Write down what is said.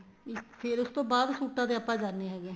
ਇਸ ਫ਼ੇਰ ਉਸ ਤੋਂ ਬਾਅਦ ਸੂਟਾ ਤੇ ਆਪਾਂ ਜਾਣੇ ਹੈਗੇ ਆ